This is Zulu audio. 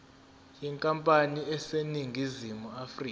yenkampani eseningizimu afrika